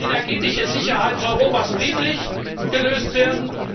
Kann die energetische Sicherheitsproblematik Europas friedlich gelöst werden?